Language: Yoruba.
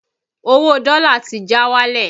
Owó dọ́lá ti já wálẹ̀